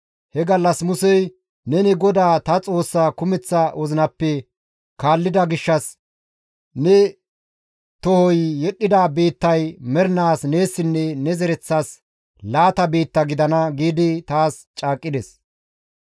He gallas Musey, ‹Neni GODAA ta Xoossaa kumeththa wozinappe kaallida gishshas ne tohoy yedhdhida biittay mernaas neessinne ne zereththas laata biitta gidana› giidi taas caaqqides.